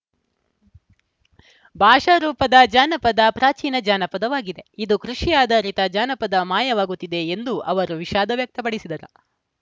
ಭಾಷಾ ರೂಪದ ಜಾನಪದ ಪ್ರಾಚೀನ ಜಾನಪದವಾಗಿದೆ ಇದು ಕೃಷಿ ಆಧಾರಿತ ಜಾನಪದ ಮಾಯವಾಗುತ್ತಿದೆ ಎಂದು ಅವರು ವಿಷಾದ ವ್ಯಕ್ತಪಡಿಸಿದರು